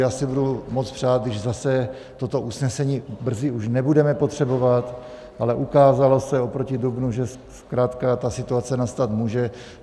Já si budu moc přát, když zase toto usnesení brzy už nebudeme potřebovat, ale ukázalo se oproti dubnu, že zkrátka ta situace nastat může.